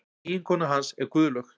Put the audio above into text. Eiginkona hans er Guðlaug